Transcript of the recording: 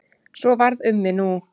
Svo varð um mig nú.